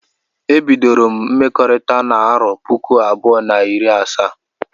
Ebidoro m mmekọrita n'arọ puku abụọ na iri asa